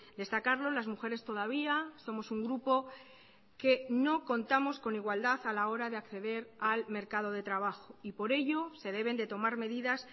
destacarlo las mujeres todavía somos un grupo que no contamos con igualdad a la hora de acceder al mercado de trabajo y por ello se deben de tomar medidas